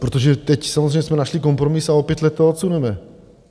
Protože teď samozřejmě jsme našli kompromis a o pět let to odsuneme.